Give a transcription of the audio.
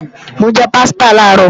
Mo jẹ pásítà làárọ̀